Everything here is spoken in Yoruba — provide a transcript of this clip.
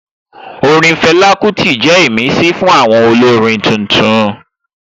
Orin Fela Kuti jẹ́ ìmísí fún àwọn olórin tuntun